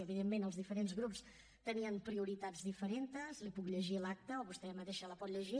evidentment els diferents grups tenien prioritats diferents li’n puc llegir l’acta o vostè mateixa la pot llegir